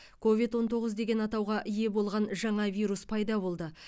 ковид он тоғыз деген атауға ие болған жаңа вирус пайда болды